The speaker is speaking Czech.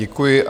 Děkuji.